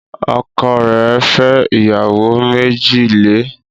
Ọkọ rẹ̀ fẹ́ ìyàwó méjì le